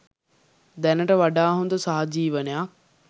දැනට වඩා හොඳ සහජීවනයක්